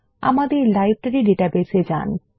আমাদের library database এ যান